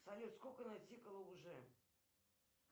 салют сколько натикало уже